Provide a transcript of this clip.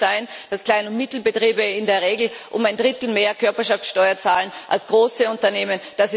Es kann nicht sein, dass kleine und mittlere Betriebe in der Regel um ein Drittel mehr Körperschaftsteuer zahlen als große Unternehmen.